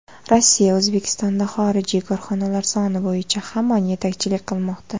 Rossiya O‘zbekistonda xorijiy korxonalar soni bo‘yicha hamon yetakchilik qilmoqda.